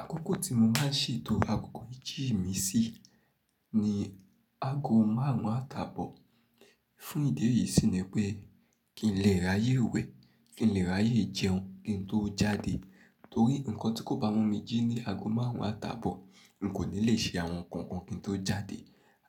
Àkókò tí mo máa ń se to àkókò méjì mi sí ni ago márùn-ún àta bọ̀. Fún ìdí èyí sì ni pé kín lè ráyè wẹ̀, kín lè ráyè jẹun kín tó jáde. Torí nǹkan tí kò bá mú mi jí ní ago márùn-ún àta bọ̀, n kò ní lè se àwọn nǹkan kan kí n tó jáde,